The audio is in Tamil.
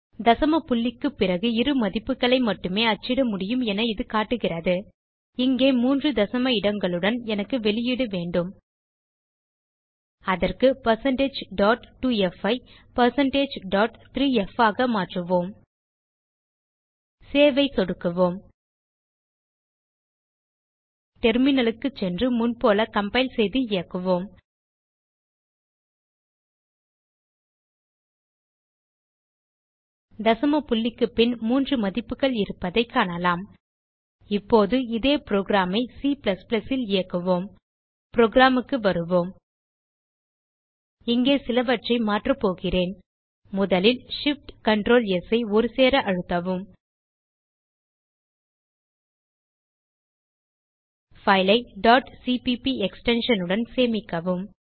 தசம புள்ளிக்கு பிறகு இரு மதிப்புகளை மட்டுமே அச்சிட முடியும் என இது காட்டுகிறது இங்கே மூன்று தசம இடங்களுடன் எனக்கு வெளியீடு வேண்டும் அதற்கு1602f ஐ1603f ஆக மாற்றுவோம் சேவ் ஐ சொடுக்கவும் டெர்மினல் க்கு சென்று முன்போல கம்பைல் செய்து இயக்குவோம் தசம புள்ளிக்கு பின் 3 மதிப்புகள் இருப்பதைக் காணலாம் இப்போது இதே புரோகிராம் ஐ C ல் இயக்குவோம் புரோகிராம் க்கு வருவோம் இங்கே சிலவற்றை மாற்றபோகிறேன் முதலில் shiftctrls ஐ ஒருசேர அழுத்தவும் பைல் ஐ cpp எக்ஸ்டென்ஷன் உடன் சேமிக்கவும்